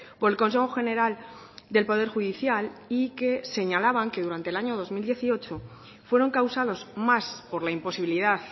por el consejo general del poder judicial y que señalaban que durante el año dos mil dieciocho fueron causados más por la imposibilidad